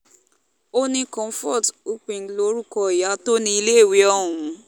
ó ní comfort ukping lorúkọ ìyá tó níléèwé ọ̀hún